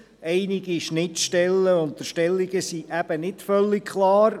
Einige Schnittstellen und Unterstellungen sind eben nicht völlig klar.